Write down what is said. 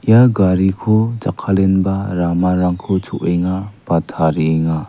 ia gariko jakkalenba ramarangko cho·enga ba tarienga.